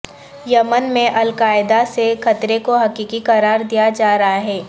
یمن میں القاعدہ سے خطرے کو حقیقی قرار دیا جا رہا ہے